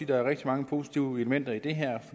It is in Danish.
der er rigtig mange positive elementer i det her